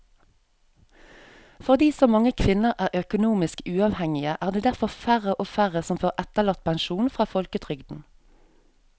Fordi så mange kvinner er økonomisk uavhengige er det derfor færre og færre som får etterlattepensjon fra folketrygden.